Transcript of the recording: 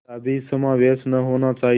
कदापि समावेश न होना चाहिए